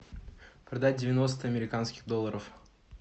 продать девяносто американских долларов